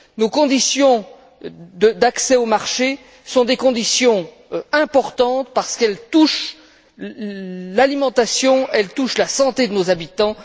Nos conditions d'accès au marché sont des conditions importantes parce qu'elles touchent à l'alimentation, elles touchent à la santé de nos habitants.